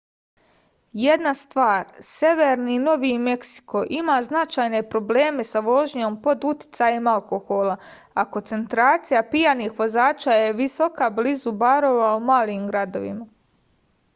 jedna stvar severni novi meksiko ima značajne probleme sa vožnjom pod uticajem alkohola a koncentracija pijanih vozača je visoka blizu barova u malim gradovima